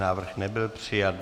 Návrh nebyl přijat.